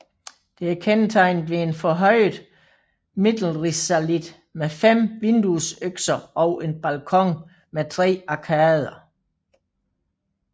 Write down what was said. Det er kendetegnet ved en forhøjet Mittelrisalit med fem vinduesøkser og en balkon med tre arkader